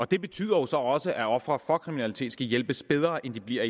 det betyder så også at ofre for kriminalitet skal hjælpes bedre end de bliver